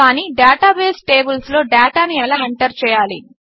కాని డేటాబేస్ టేబిల్స్లో డేటాను ఎలా ఎంటర్ చేయాలి